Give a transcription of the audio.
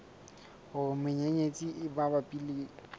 hore menyenyetsi e mabapi le